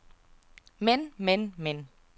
men men men